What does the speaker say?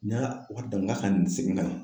N'a